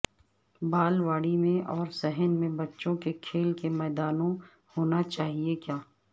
بالواڑی میں اور صحن میں بچوں کے کھیل کے میدانوں ہونا چاہئے کیا